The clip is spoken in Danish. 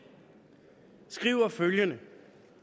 skriver følgende